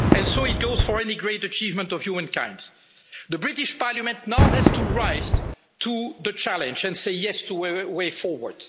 And so it goes for any great achievement of humankind. The British Parliament now has to rise to the challenge and say yes' to a way forward.